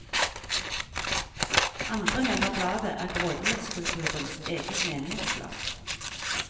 Andre mener bladet er grådighetskulturens eget menighetsblad.